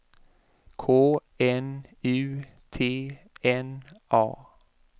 K N U T N A